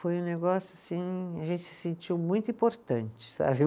Foi um negócio assim, a gente se sentiu muito importante, sabe?